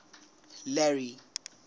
larry